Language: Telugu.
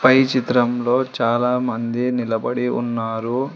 పై చిత్రంలో చాలామంది నిలబడి ఉన్నారు.